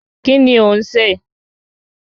Kíni ò ń sè?